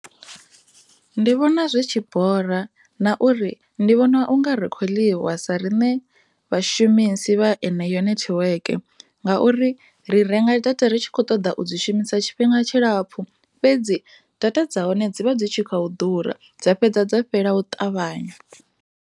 Ndi vhona zwi tshi bora na uri ndi vhona unga ri kho ḽiwa vhashumisi vha yeneyo nertwork ngauri ri renga data ri tshi kho ṱoḓa u i shumisa tshifhinga tshilapfhu fhedzi data dza hone dzi vha dzi tshi khou ḓura dza dovha dza fhela u ṱavhanya.